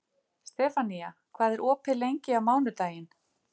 Stefanía, hvað er opið lengi á mánudaginn?